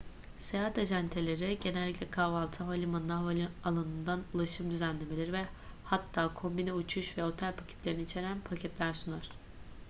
seyahat acenteleri genellikle kahvaltı havalimanına/havaalanından ulaşım düzenlemeleri ve hatta kombine uçuş ve otel paketlerini içeren paketler sunar